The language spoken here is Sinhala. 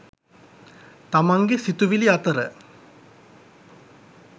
තමන්ගේ සිතිවිලි අතර